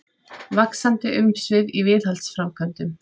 Vaxandi umsvif í viðhaldsframkvæmdum